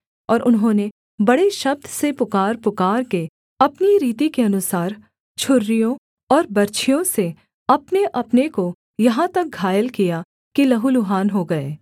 और उन्होंने बड़े शब्द से पुकारपुकारके अपनी रीति के अनुसार छुरियों और बर्छियों से अपनेअपने को यहाँ तक घायल किया कि लहू लुहान हो गए